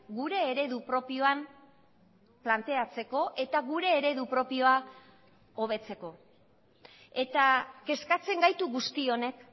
gure eredu propioan planteatzeko eta gure eredu propioa hobetzeko eta kezkatzen gaitu guzti honek